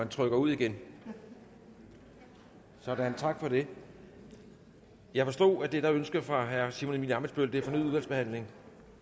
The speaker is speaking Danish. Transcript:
trykker ud igen sådan tak for det jeg forstod at det der er ønsket fra herre simon emil ammitzbøll er fornyet udvalgsbehandling